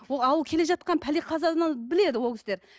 келе жатқан пәле қазадан біледі ол кісілер